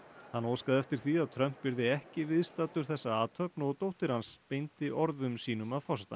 hann óskaði eftir því að Trump yrði ekki viðstaddur þessa athöfn og dóttir hans beindi orðum sínum að forsetanum